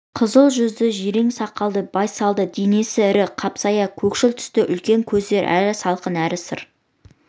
қызыл жүзді жирен сақалды байсалдың денесі ірі қапсағай көкшіл түсті үлкен көздері әрі салқын әрі сыр